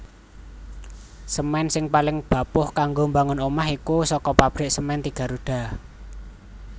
Semen sing paling bapuh kanggo mbangun omah kui soko pabrik Semen Tiga Roda